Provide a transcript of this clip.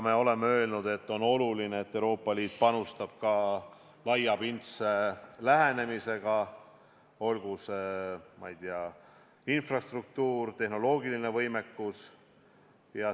Me oleme öelnud, et on oluline, et Euroopa Liit panustaks ka laiapindse lähenemisega, olgu see infrastruktuur või tehnoloogiline võimekus.